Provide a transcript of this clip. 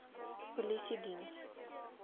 polisiediens